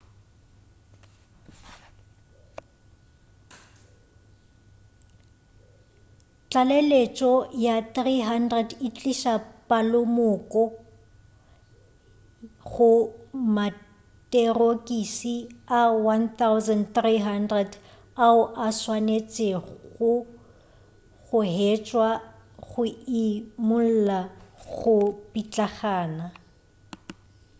tlaleletšo ya 300 e tliša palomoka go materokisi a 1,300 ao a swanetšwego go hwetšwa go imulla go pitlagana